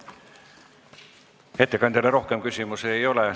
Ettekandjale rohkem küsimusi ei ole.